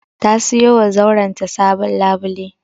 Ta siyowa zauren ta sabon labule.